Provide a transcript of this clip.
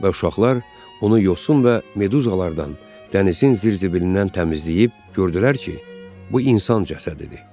Və uşaqlar onu yosun və meduzalardan, dənizin zirzibilindən təmizləyib gördülər ki, bu insan cəsədidir.